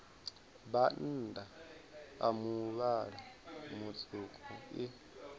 bannda a muvhala mutswuku i